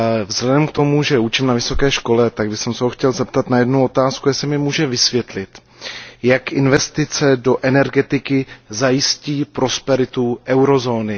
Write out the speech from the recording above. Vzhledem k tomu, že učím na vysoké škole, tak bych se ho chtěl zeptat na jednu otázku jestli mi může vysvětlit, jak investice do energetiky zajistí prosperitu eurozóny.